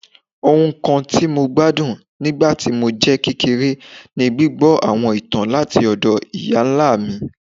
Ohun kan ti Mo gbadun nigba ti mo jẹ kekere ni gbigbọ awọn itan lati ọdọ iya-nla mi